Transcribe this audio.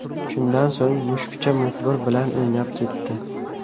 Shundan so‘ng, mushukcha muxbir bilan o‘ynab ketdi.